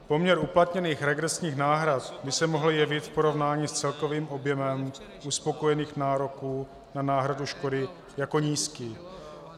Poměr uplatněných regresních náhrad by se mohl jevit v porovnání s celkovým objemem uspokojených nároků na náhradu škody jako nízký.